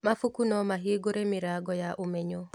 Mabuku no mahingũre mĩrango ya ũmenyo.